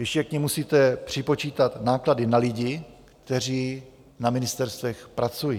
Ještě k nim musíte připočítat náklady na lidi, kteří na ministerstvech pracují.